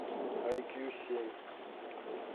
айкью семь